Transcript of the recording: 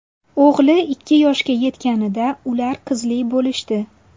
O‘g‘li ikki yoshga yetganida ular qizli bo‘lishdi.